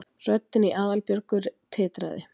röddin í Aðalbjörgu titraði.